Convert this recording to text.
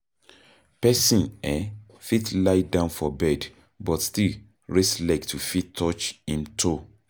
Person um fit lie down for bed but still raise leg to fit touch im toe